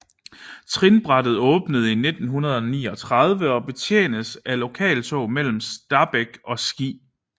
Trinbrættet åbnede i 1939 og betjenes af lokaltog mellem Stabekk og Ski